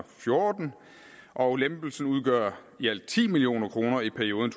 fjorten og lempelsen udgør i alt ti million kroner i perioden